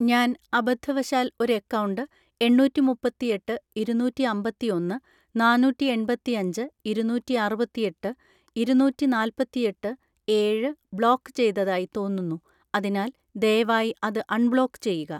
ഞാൻ അബദ്ധവശാൽ ഒരു അക്കൗണ്ട് എണ്ണൂറ്റിമുപ്പത്തിയെട്ട് ഇരുന്നൂറ്റിഅമ്പത്തിയൊന്ന് നാന്നൂറ്റിഎൺപത്തിയഞ്ച് ഇരുന്നൂറ്റിഅറുപത്തിയെട്ട് ഇരുന്നൂറ്റിനാല്പത്തിയെട്ട് ഏഴ് ബ്ലോക്ക് ചെയ്തതായി തോന്നുന്നു അതിനാൽ ദയവായി അത് അൺബ്ലോക്ക് ചെയ്യുക.